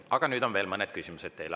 Aga nüüd on veel mõned küsimused teile.